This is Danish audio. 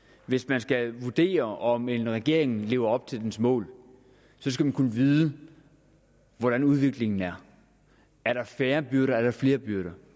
hvis man skal vurdere om en regering lever op til dens mål skal man kunne vide hvordan udviklingen er er der færre byrder eller er der flere byrder